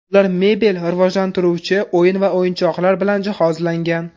Ular mebel, rivojlantiruvchi o‘yin va o‘yinchoqlar bilan jihozlangan.